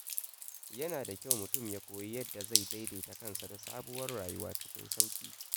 Yana da kyau mutum ya koyi yadda zai daidaita kansa da sabuwar rayuwa cikin sauƙi.